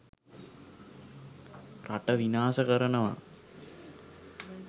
රට විනාස කරනවා